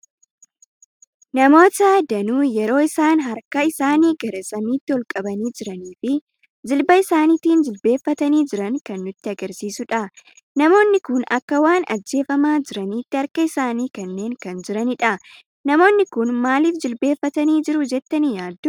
Namoota danuu yeroo isaan harkaa isaanii gara samiitti ol qabani jiraanii fi jilbaa isaaniitin jilbeeffatani jiran kan nutti agarsiisuudha. Namoonni kun akka waan ajjeefama jiranitti harkaa isaani kennani kan jiranidha. Namoonni kun maaliif jilbeeffatani jiru jettani yaaddu?